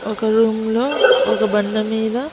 ఒక రూమ్ లో ఒక బండ మీద.